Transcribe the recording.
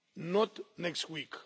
Not next week.